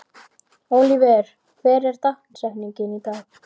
Oliver, hver er dagsetningin í dag?